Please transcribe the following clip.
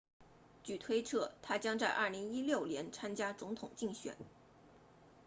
据推测他将在2016年参加总统竞选